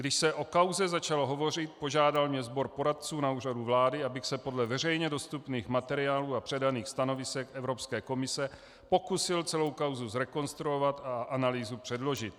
Když se o kauze začalo hovořit, požádal mě sbor poradců na Úřadu vlády, abych se podle veřejně dostupných materiálů a předaných stanovisek Evropské komise pokusil celou kauzu zrekonstruovat a analýzu předložit.